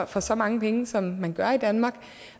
for så mange penge som man gør i danmark